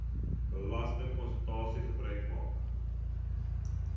belastingkonsultante gebruik maak